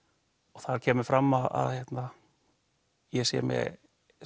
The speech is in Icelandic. og það kemur fram að ég sé með